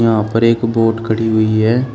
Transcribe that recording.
यहां पर एक वोट खड़ी हुई है।